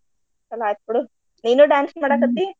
ಚಲೋ ಅಯ್ತು ಬಿಡು. ನೀನು dance ?